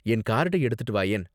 என் கார்டை எடுத்துட்டு வாயேன்.